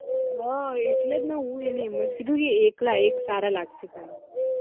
હ એટલે જ ને હું એને એમ જ કીધું એક લાય એક સારા લાગશે તને